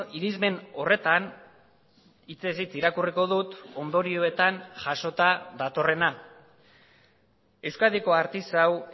irismen horretan hitzez hitz irakurriko dut ondorioetan jasota datorrena euskadiko artisau